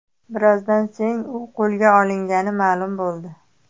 Birozdan so‘ng u qo‘lga olingani ma’lum bo‘ldi .